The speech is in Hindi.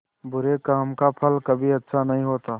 बुरे काम का फल कभी अच्छा नहीं होता